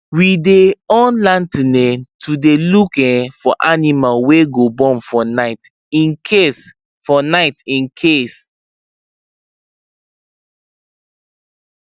we dy on lantern um to dy look um for animal wy go born for night incase for night incase